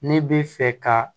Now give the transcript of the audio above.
Ne bɛ fɛ ka